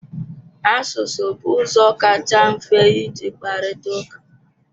Asụsụ bụ ụzọ kacha mfe iji kparịta ụka.